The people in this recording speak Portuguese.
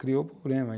Criou um problema.